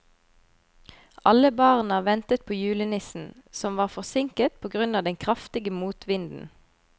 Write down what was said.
Alle barna ventet på julenissen, som var forsinket på grunn av den kraftige motvinden.